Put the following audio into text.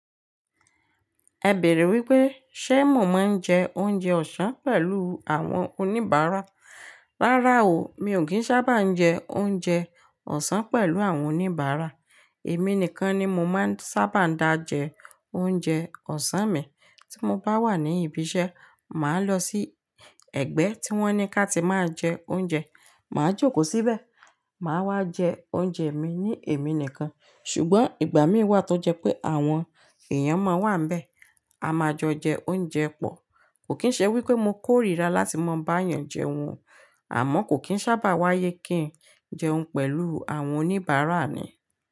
Ẹ bèèrè wípé ṣé mo máa ń jẹ oúnjẹ ọ̀sán pẹ̀lú àwọn oníbàárà. Rárá o, mi ò kí ń sábà jẹ oúnjẹ ọ̀sán pẹ̀lú àwọn oníbàárà. Èmi nìkan ni mo máa ń sábà dá jẹ oúnjẹ ọ̀sán mi. Tí mo bá wà ní ibi iṣẹ́, màá lọ sí ẹ̀gbẹ́ tí wọ́n ní ká ti máa jẹ oúnjẹ. Màá jókòó síbẹ̀, màá wá jẹ oúnjẹ mi ní èmi nìkan. Ṣùgbọ́n ìgbà mìí wà tó jẹ́ pé àwọn èèyàn máa wà níbẹ̀, a máa jọ jẹ oúnjẹ pọ̀. Kò kí ń ṣe wípé mo kórìíra láti máa bá èèyàn jẹun, àmọ́ kò kín sábà wáyé kí ń jẹun pẹ̀lú àwọn oníbàárà ni.